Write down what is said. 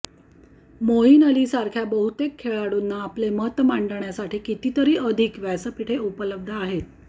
मोईन अलीसारख्या बहुतेक खेळाडूंना आपले मत मांडण्यासाठी कितीतरी अधिक व्यासपीठे उपलब्ध आहेत